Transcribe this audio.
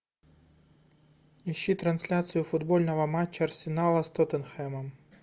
ищи трансляцию футбольного матча арсенала с тоттенхэмом